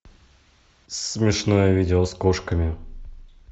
смешное видео с кошками